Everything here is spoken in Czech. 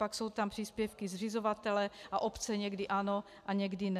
Pak jsou tam příspěvky zřizovatele, a obce někdy ano a někdy ne.